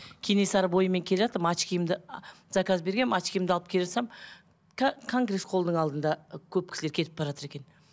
кенесары бойымен келе жатырмын очкиімді заказ бергенмін очкиімді алып келе жатсам конгресс холлдың алдында көп кісілер кетіп баратыр екен